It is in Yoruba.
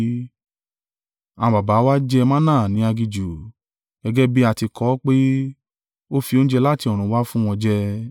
Àwọn baba wa jẹ manna ní aginjù; gẹ́gẹ́ bí a ti kọ ọ́ pé, ‘Ó fi oúnjẹ láti ọ̀run wá fún wọn jẹ.’ ”